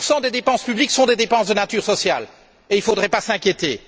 40 des dépenses publiques sont des dépenses de nature sociale et il ne faudrait pas s'inquiéter!